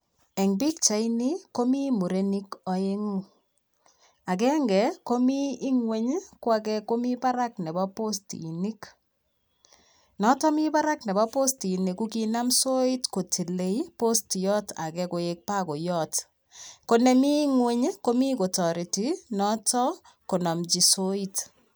Eng pichaini komi murenik aengu. Agenge komi ingwony ko age komi barak nebo postinik. Notok mi barak nebo postinik ko kinam soit kotilei postiyot age koek bakoyot. Konemi ingweny ii, komi kotareti noto konamchi soit.